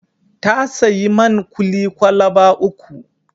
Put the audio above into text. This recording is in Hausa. Ta sayi man kuli kwalaba uku.